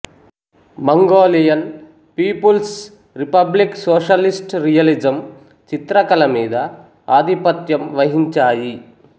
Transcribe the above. Mongolian people's republic socialist realism చిత్రకళ మీద ఆధిపత్యం వహించాయి